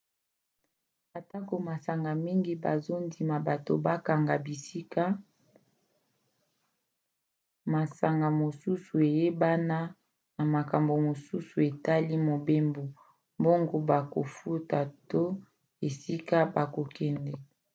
atako masanga mingi bazondima bato bakanga bisika masanga mosusu eyebana na makambo mosusu etali mobembo mbongo bakofuta to esika bakokende